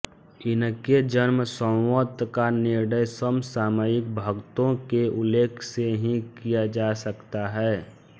इनके जन्मसंवत का निर्णय समसामयिक भक्तों के उल्लेख से ही किया जा सकता है